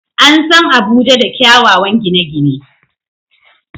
An san Abuja da kyawawan gine-gine.